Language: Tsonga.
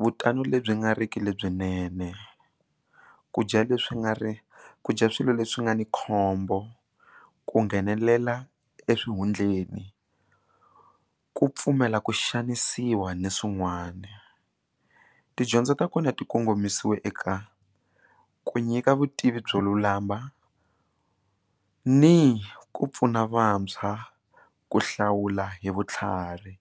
vutani lebyi nga riki lebyinene ku dya leswi nga ri ku dya swilo leswi nga ni khombo ku nghenelela eswihundleni ku pfumela ku xanisiwa ni swin'wana tidyondzo ta kona ti kongomisiwe ka ku nyika vutivi byo lulama ni ku pfuna vantshwa ku hlawula hi vutlhari.